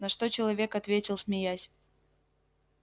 на что человек ответил смеясь